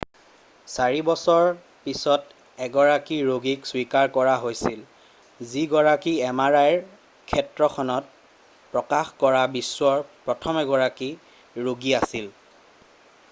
4 বছৰৰ পাছত এগৰাকী ৰোগীক স্বীকাৰ কৰা হৈছিল যি গৰাকী mri ৰ ক্ষেত্ৰখনত প্ৰকাশ কৰা বিশ্বৰ প্ৰথমগৰাকী ৰোগী আছিল৷